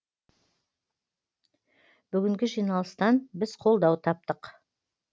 бүгінгі жиналыстан біз қолдау таптық